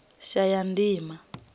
shayandima